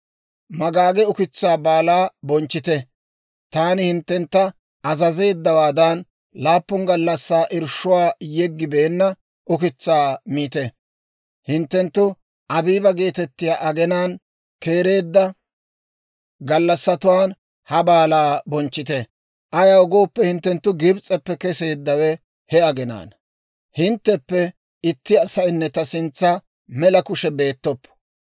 Magaage ukitsaa Baalaa bonchchite; taani hinttentta azazeeddawaadan, laappun gallassaa irshshuwaa yeggibeenna ukitsaa miite; hinttenttu Abiiba geetettiyaa aginaan keereedda gallassatuwaan ha baalaa bonchchite; ayaw gooppe, hinttenttu Gibs'eppe keseeddawe he aginaana. «Hintteppe itti asaynne ta sintsan mela kushe beettoppo.